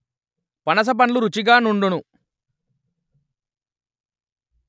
పనస పండ్లు రుచిగా నుండును